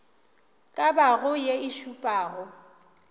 ka bago ye e šupago